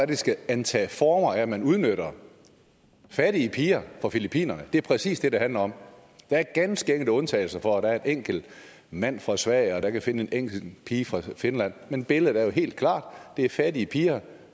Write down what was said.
det skal antage former af at man udnytter fattige piger fra filippinerne det er præcis det det handler om der er ganske enkelte undtagelser hvor der er en enkelt mand fra sverige der kan finde en enkelt pige fra finland men billedet er jo helt klart det er fattige piger